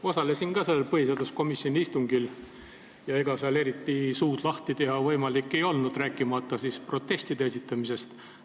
Ma osalesin ka sellel põhiseaduskomisjoni istungil ja ega seal eriti suud lahti teha võimalik ei olnud, rääkimata protesti esitamisest.